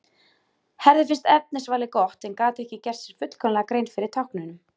Herði finnst efnisvalið gott en gat ekki gert sér fullkomlega grein fyrir táknunum.